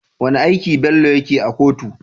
Wane aiki Bello yake a kotu?